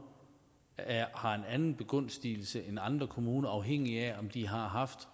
har en anden begunstigelse end andre kommuner afhængigt af om de har haft